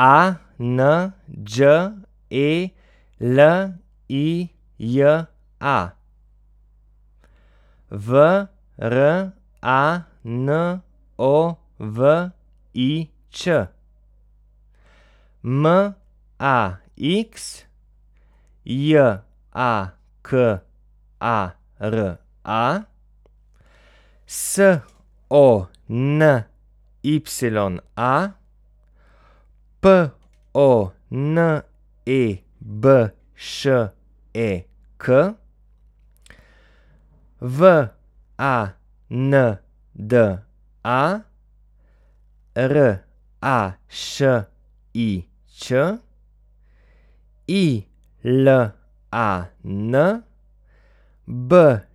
A N Đ E L I J A, V R A N O V I Č; M A X, J A K A R A; S O N Y A, P O N E B Š E K; W A N D A, R A Š I Ć; I L A N, B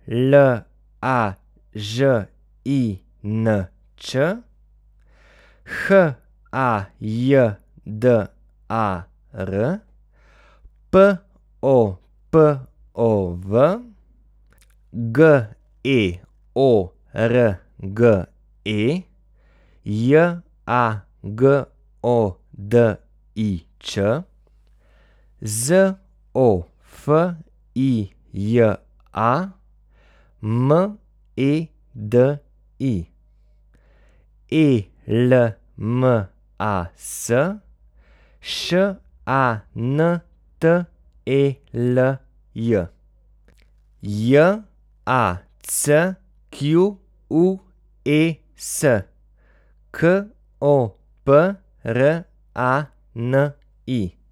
L A Ž I N Č; H A J D A R, P O P O V; G E O R G E, J A G O D I Č; Z O F I J A, M E D I; E L M A S, Š A N T E L J; J A C Q U E S, K O P R A N I.